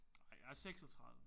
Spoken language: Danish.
Ej jeg er 36